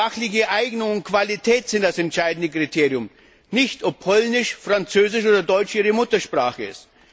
Fachliche Eignung und Qualität sind das entscheidende Kriterium, nicht ob Polnisch, Französisch oder Deutsch ihre Muttersprache ist.